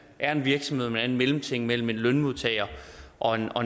er en virksomhed man er en mellemting mellem en lønmodtager og en